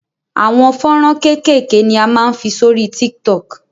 Àwọn fọ́nrán kékèké ni a máa ń fi sórí TikTok.